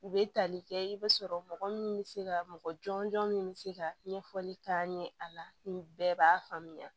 U bɛ tali kɛ i b'a sɔrɔ mɔgɔ min bɛ se ka mɔgɔ jɔnjɔn min bɛ se ka ɲɛfɔli k'a ɲɛ a la nin bɛɛ b'a faamuya